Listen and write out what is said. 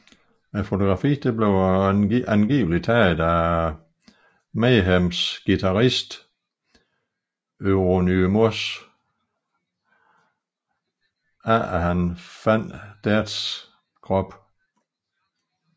Fotografiet blev angiveligt taget af Mayhems guitarist Euronymous efter han fandt Deads krop